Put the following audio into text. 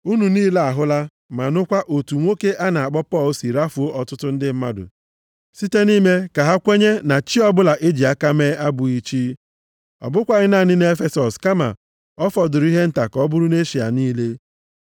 Unu niile ahụla ma nụkwa, otu nwoke a na-akpọ Pọl si rafuo ọtụtụ ndị mmadụ site nʼime ka ha kwenye na chi + 19:26 Ya bụ, chi nke mmadụ hiwere ọbụla e ji aka mee abụghị chi. Ọ bụkwaghị naanị nʼEfesọs kama ọ fọdụrụ ihe nta ka ọ bụrụ nʼEshịa niile.